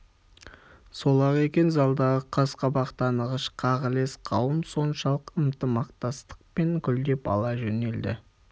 сол-ақ екен залдағы қас-қабақ танығыш қағылез қауым соншалық ынтымақтастықпен гулдеп ала жөнелді